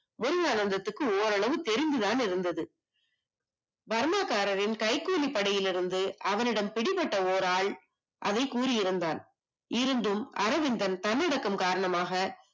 முருகானந்தத்திற்கு ஓரளவுக்கு தெரிந்து தான் இருந்தது பர்மா காரர்களின் கைக்கூலி படையிலிருந்து அவனிடம் பிடிபட்ட ஒரு ஆள் அதை கூறி இருந்தான் இருந்தும் அரவிந்தன் தன்னடக்கம் காரணமாக